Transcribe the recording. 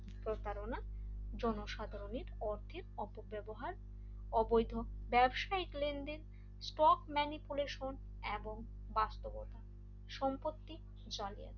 প্রতারণা জনসাধারণের পক্ষে অপব্যবহার অবৈধ ব্যবসায়িক লেনদেন স্পক ম্যানিপুলেশন এবং বাস্তবতা সম্পত্তি জালিয়াতি